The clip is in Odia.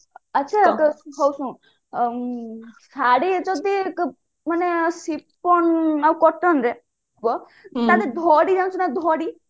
ଆଚ୍ଛା ହଉ ଶୁଣୁ ଶାଢୀ ଯଦି ମାନେ ଆଉ cottonରେ ଥିବ ତାହାଲେ ଧଡି ଜାଣିଛୁ ନା ଧଡି